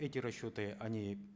эти расчеты они